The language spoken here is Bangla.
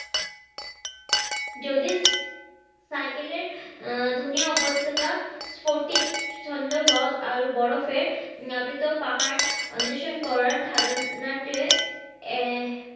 যদি সাইকেল এর আহ ধুনিয়া উপত্যকা স্পটিক ছন্দ হ্রদ আরও বরফের নাবিত পাহাড় ওন্দেশন করার ধারনাতে এর